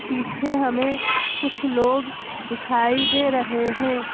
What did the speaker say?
पीछे हमें कुछ लोग दिखाई दे रहे हैं।